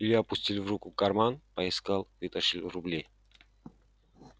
илья опустил в руку карман поискал вытащил рубли